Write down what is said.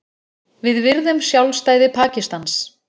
Við virðum sjálfstæði Pakistans